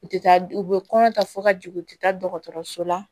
U tɛ taa u bɛ kɔnɔ ta fo ka jigin u tɛ taa dɔgɔtɔrɔso la